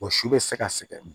Wa si bɛ se ka sɛgɛn